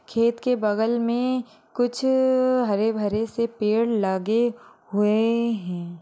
खेत के बगल में कुछ हरे भरे से पेड़ लागे हुए हैं।